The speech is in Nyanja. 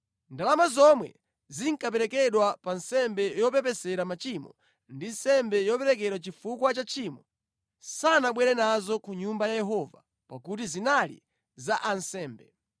Ndalama zomwe zinkaperekedwa pa nsembe yopepesera machimo ndi nsembe yoperekedwa chifukwa cha tchimo sanabwere nazo ku Nyumba ya Yehova pakuti zinali za ansembe.